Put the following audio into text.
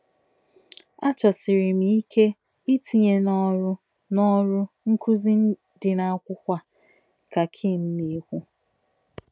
A chọsiri m ike itinye n’ọrụ n’ọrụ nkuzi dị n'akwụkwọ a ” ka Kim na-ekwu.